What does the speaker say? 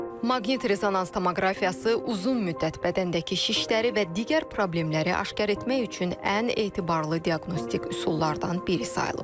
Maqnit rezonans tomoqrafiyası uzun müddət bədəndəki şişləri və digər problemləri aşkar etmək üçün ən etibarlı diaqnostik üsullardan biri sayılıb.